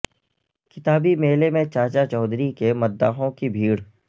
کتابی میلے میں چاچا چودھری کے مدا حوں کی بھیڑ